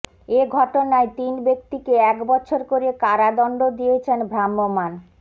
এ ঘটনায় তিন ব্যক্তিকে এক বছর করে কারাদণ্ড দিয়েছেন ভ্রাম্যমাণ